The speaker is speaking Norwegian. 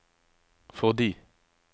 fordi